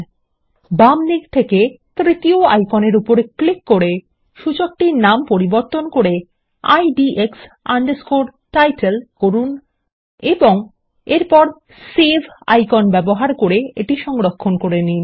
এবং বামদিক থেকে তৃতীয় আইকনের উপর ক্লিক করে সূচকটির নামান্তর করে IDX Title করুন এবং এরপর সেভ আইকন ব্যবহার করে এটি সংরক্ষণ করে নিন